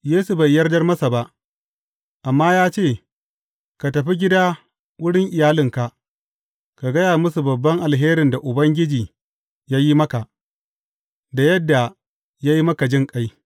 Yesu bai yardar masa ba, amma ya ce, Ka tafi gida wurin iyalinka, ka gaya musu babban alherin da Ubangiji ya yi maka, da yadda ya yi maka jinƙai.